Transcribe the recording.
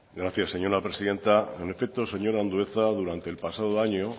gracias señora presidenta en efecto señor andueza durante el pasado año